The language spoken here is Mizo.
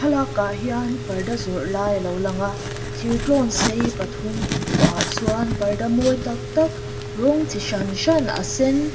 lak ah hian parda zawrh lai alo lang a thir tlawn sei pathum in thuah ah chuan parda mawi tak tak rawng chi hran hran a sen--